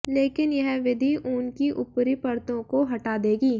लेकिन यह विधि ऊन की ऊपरी परतों को हटा देगी